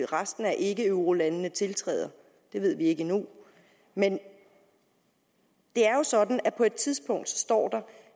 resten af ikkeeurolandene tiltræder det ved vi ikke endnu men det er jo sådan at på et tidspunkt står der